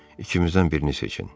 İkimizdən birini seçin.